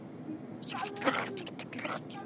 Gunnar Atli Gunnarsson: Hvað er skemmtilegast við þetta?